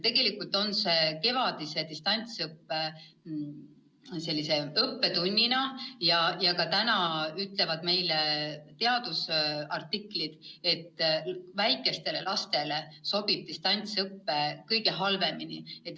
Tegelikult on see kevadise distantsõppe õppetund ja ka teadusartiklid ütlevad, et väikestele lastele sobib distantsõpe kõige halvemini.